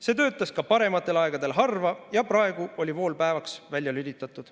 See töötas ka parematel aegadel harva, ja praegu oli vool päeva ajaks välja lülitatud."